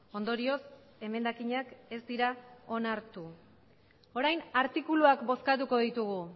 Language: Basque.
ondorioz emendakinak ez dira onartu orain artikuluak bozkatuko ditugu